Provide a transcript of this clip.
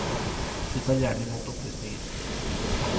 Vi tar gjerne imot opplysninger.